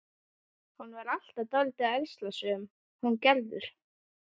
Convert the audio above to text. Hún var alltaf dálítið ærslasöm, hún Gerður.